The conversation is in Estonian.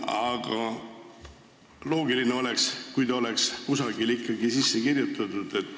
Aga loogiline oleks, kui selline piirang oleks kusagile ikkagi sisse kirjutatud.